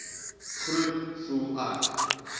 groet voel ek